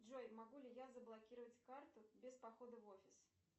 джой могу ли я заблокировать карту без похода в офис